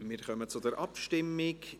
Wir kommen zur Abstimmung.